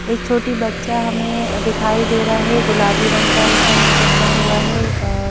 एक छोटी बच्चा हमें दिखाई दे रहा है गुलाबी रंग का इसने पहना हुआ है।